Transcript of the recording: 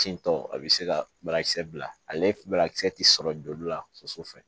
Tin tɔ a bɛ se ka barakisɛ bila ale barakisɛ tɛ sɔrɔ joli la soso fɛ